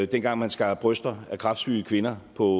dengang man skar bryster af kræftsyge kvinder på